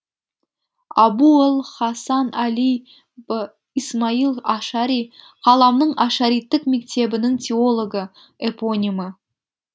абу л хасан әли б исмаил ашари қаламның ашариттік мектебінің теологі эпонимі